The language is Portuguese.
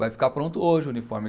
Vai ficar pronto hoje o uniforme.